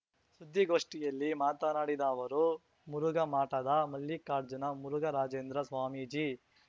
ಸುದ್ದಿಗೋಷ್ಠಿಯಲ್ಲಿ ಮಾತನಾಡಿದ ಅವರು ಮುರುಘಾಮಠದ ಮಲ್ಲಿಕಾರ್ಜುನ ಮುರುಘರಾಜೇಂದ್ರ ಸ್ವಾಮೀಜಿ